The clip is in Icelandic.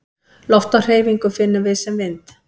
Loft á hreyfingu finnum við sem vind.